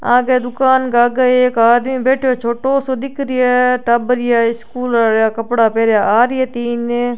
आगे दुकान का आगे एक आदमी बैठो छोटो सो दिख रिया है टाबर रिया स्कूल रिया कपडा पहना आ रिया है तीन।